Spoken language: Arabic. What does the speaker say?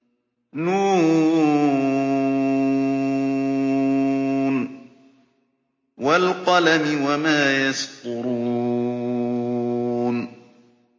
ن ۚ وَالْقَلَمِ وَمَا يَسْطُرُونَ